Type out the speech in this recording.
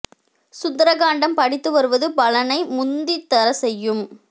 சுந்தர காண்டம் படித்து வருவது பலனை முந்தி தர செய்யும்